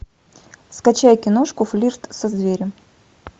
скачай киношку флирт со зверем